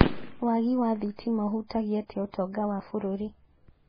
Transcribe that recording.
Waagi wa thitima ũhutagia atĩa utonga wa bũrũri